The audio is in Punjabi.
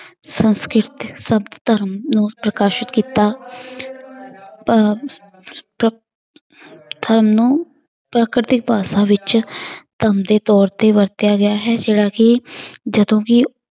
ਸੰਸਕ੍ਰਿਤ ਧਰਮ ਨੂੰ ਪ੍ਰਕਾਸ਼ਿਤ ਕੀਤਾ ਪ~ ਪ~ ਪ੍ਰਕਤੀ ਭਾਸ਼ਾ ਵਿੱਚ ਧੰਮ ਦੇ ਤੌਰ ਤੇ ਵਰਤਿਆ ਗਿਆ ਹੈ ਜਿਹੜਾ ਕਿ ਜਦੋਂ ਵੀ